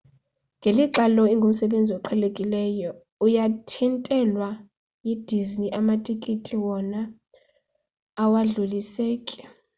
ngelixa lo ingumsebenzi oqhelekileyo uyathintelwa yidisney amatikiti wona awadluliseki